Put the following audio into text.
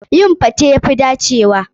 Yin gwaen ya fi dacewa.